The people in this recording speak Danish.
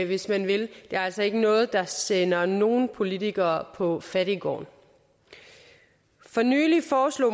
hvis man vil det er altså ikke noget der sender nogen politiker på fattiggården for nylig foreslog